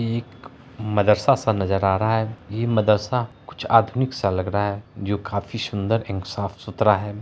यह एक मदर्सा सा नज़र आ रहा है यह मदर्सा कुछ आधुनिक सा लग रहा है जो काफी सुन्दर एंड साफ़-सुथरा है।